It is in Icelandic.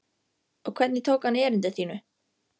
Og hvernig tók hann erindi þínu?